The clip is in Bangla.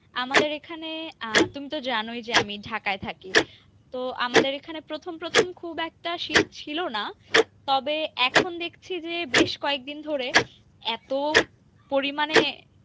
আমাদের এখানে আহ তুমি তো জানোই যে আমি ঢাকায় থাকি, তো আমাদের এখানে প্রথম প্রথম খুব একটা শীত ছিলনা তবে এখন দেখছি যে বেশ কয়েক দিন ধরে এত পরিমাণে